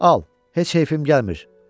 Al, heç keyfim gəlmir.